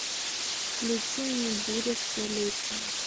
включи мне буря столетия